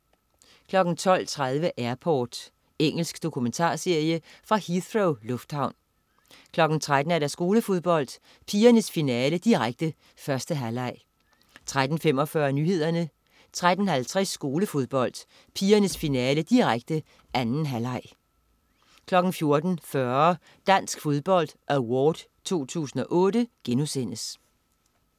12.30 Airport. Engelsk dokumentarserie fra Heathrow lufthavn 13.00 Skolefodbold: Pigernes finale, direkte. 1. halvleg 13.45 Nyhederne 13.50 Skolefodbold: Pigernes finale, direkte. 2. halvleg 14.40 Dansk Fodbold Award 2008*